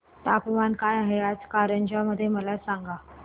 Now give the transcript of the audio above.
तापमान काय आहे आज कारंजा मध्ये मला सांगा